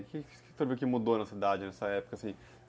O que o senhor viu que mudou na cidade nessa época, assim?